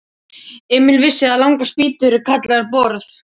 Emil vissi að langar spýtur eru kallaðar borð.